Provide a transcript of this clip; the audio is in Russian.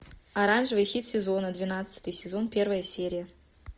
оранжевый хит сезона двенадцатый сезон первая серия